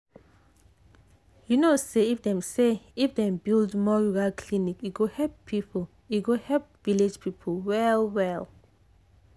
you know say if dem say if dem build more rural clinic e go help village people well well.